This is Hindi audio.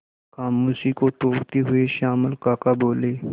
खामोशी को तोड़ते हुए श्यामल काका बोले